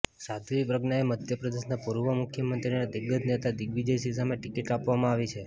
સાધ્વી પ્રજ્ઞાને મધ્યપ્રદેશના પૂર્વ મુખ્યમંત્રી અને દિગ્ગજ નેતા દિગ્વિજય સિંહ સામે ટિકિટ આપવામાં આવી છે